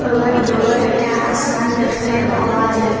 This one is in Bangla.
অনেক বড় একটা আসমান দেখতে পাওয়া যাইচ্ছ--